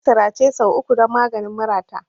Nayi sirace sau uku don maganin murata.